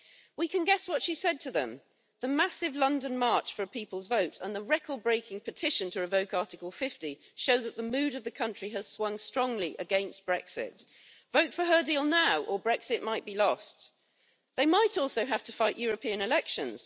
We can guess what she said to them the massive London march for a people's vote and the record breaking petition to revoke Article 50 show that the mood of the country has swung strongly against Brexit, so vote for her deal now or Brexit might be lost and they might also have to fight European elections.